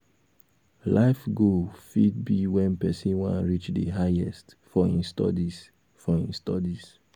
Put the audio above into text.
life goal fit be when person wan reach di highest for im studies for im studies